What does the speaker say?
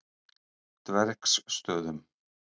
Dvergsstöðum